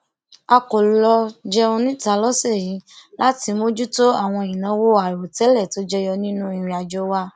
a kò lọ jẹun níta lósè yìí láti mójútó àwọn ìnáwó àìròtẹlẹ tó jẹyọ nínú ìrìnàjò wa